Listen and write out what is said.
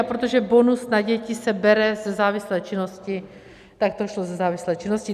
A protože bonus na děti se bere ze závislé činnosti, tak to šlo ze závislé činnosti.